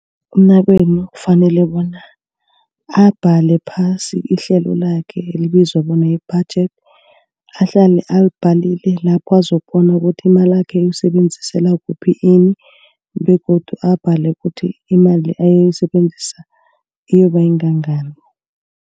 Umnakwenu kufanele bona abhale phasi ihlelo lakhe elibizwa bona yi-budget. Ahlale alibhalile lapho bazokubona ukuthi imalakhe uyisebenzisela kuphi ini begodu abhale kuthi imali ayoyisebenzisa iyoba ngangani.